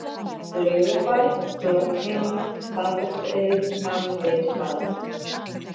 Laugabær, Lognheimar, Stafholtsey, Hafsteinstaðir